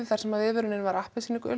þar sem viðvörun var appelsínugul